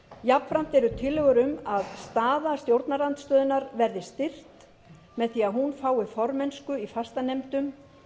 jafnframt eru tillögur um að staða stjórnarandstöðunnar verði styrkt með því að hún fái formennsku í fastanefndum